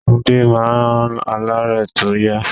Túndé máa ń aláré tó yá.